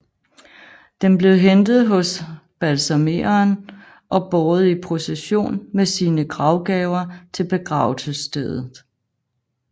Den blev hentet hos balsamereren og båret i procession med sine gravgaver til begravelsesstedet